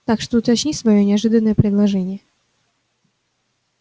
так что уточни своё неожиданное предложение